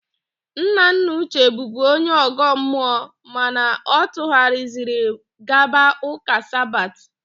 Nnanna Uche bụbu onye ọ̀gọ́ mmụọ mana ọ tụghariziri gaba ụ́kà Sabat.